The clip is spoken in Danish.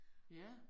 Ja